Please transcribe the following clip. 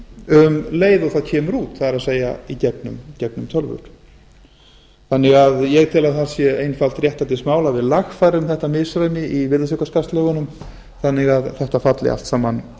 um leið og það kemur út það er í gegnum tölvur ég tel að það sé einfalt réttlætismál að við lagfærum þetta misræmi í virðisaukaskattslögunum þannig að þetta falli allt saman